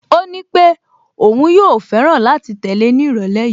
Ó nípé òun yóò fẹ́ràn láti tẹ̀lé ní ìrọ̀lẹ́ yìí